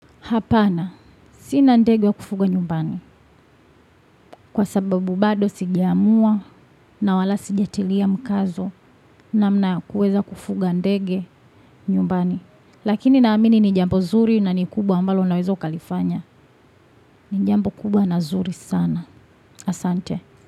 Hapana, sina ndege wa kufuga nyumbani. Kwa sababu bado sijaamua na wala sijatilia mkazo namna ya kuweza kufuga ndege nyumbani. Lakini naamini ni jambo zuri na ni kubwa ambalo unaweza ukalifanya. Ni jambo kubwa na zuri sana. Asante.